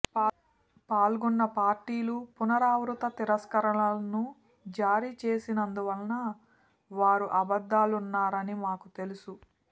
పాల్గొన్న పార్టీలు పునరావృత తిరస్కరణలను జారీ చేసినందువల్ల వారు అబద్ధాలున్నారని మాకు తెలుసు